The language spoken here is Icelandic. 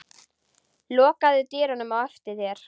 Lokaðu dyrunum á eftir þér.